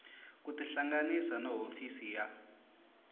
ku tihlanganisa na hofisi ya